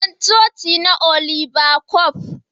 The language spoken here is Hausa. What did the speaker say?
Sunan coci na Oliba coc.